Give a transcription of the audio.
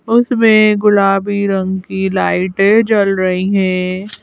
उसमें गुलाबी रंग की लाइटें जल रही हैं।